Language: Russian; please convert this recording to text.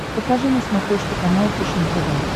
покажи на смотрешке канал фэшен тв